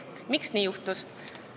Miks nii juhtus?